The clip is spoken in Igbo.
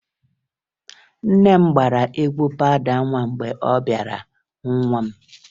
Nne m gbara egwu pawụda nwa mgbe ọ bịara hụ nwa m